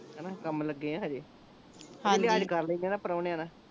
ਹਣਾ ਕੰਮ ਲੱਗੇ ਆਂ ਹਜੇ ਲਿਹਾਜ ਕਰ ਲੈਂਦੇ ਆ ਨਾਂ ਪ੍ਰਾਹੁਣਿਆ ਦਾ